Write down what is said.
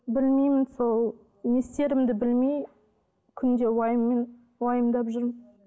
білмеймін сол не істерімді білмей күнде уайыммен уайымдап жүрмін